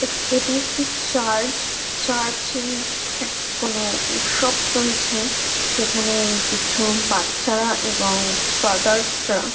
এফট এটি একটি church church -এ এক্ত কোনো উৎসব চলছে সেখানে কিছু বাচ্চারা এবং ফাদারস -রা --